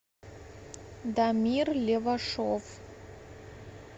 дамир левашов